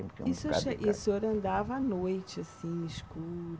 E se o senhor, e o senhor andava à noite, assim, escuro?